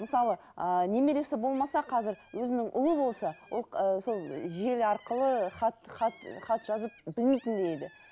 мысалы ыыы немересі болмаса қазір өзінің ұлы болса ол ы сол желі арқылы хат хат хат жазып білмейтін де еді